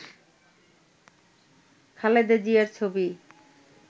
খালেদা জিয়ার ছবি